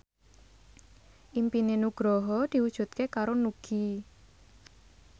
impine Nugroho diwujudke karo Nugie